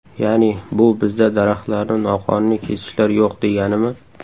Ya’ni bu, bizda daraxtlarni noqonuniy kesishlar yo‘q, deganimi?